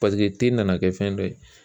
Paseke te nana kɛ fɛn dɔ ye